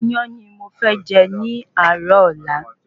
Iyán ni mo fẹ́ jẹ ní àárò ọ̀la